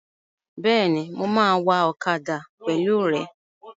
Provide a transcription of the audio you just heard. Bẹ́ẹ̀ni, mo máa wa ọ̀kadà pẹ̀lú rẹ